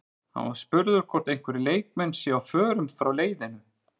Hann var spurður hvort einhverjir leikmenn séu á förum frá leiðinu?